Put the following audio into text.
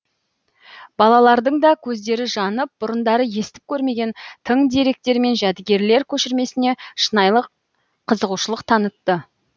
балалардың да көздері жанып бұрындары естіп көрмеген тың деректер мен жәдігерлер көшірмесіне шынайылық қызығушылық танытты